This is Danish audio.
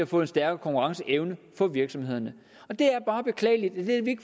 få en stærkere konkurrenceevne for virksomhederne det er bare beklageligt